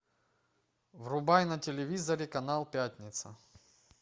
врубай на телевизоре канал пятница